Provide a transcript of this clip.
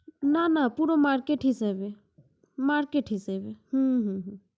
না না পুরো market হিসাবে, market হিসাবে